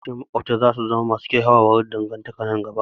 Yawancin maƙwabta za su samu kyakkyawar dangantaka nan gaba